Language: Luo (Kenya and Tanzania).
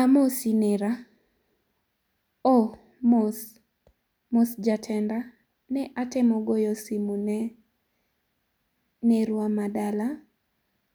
Amosi nera, oo mos jatenda, ne atemo goyo simo ne nerwa ma dala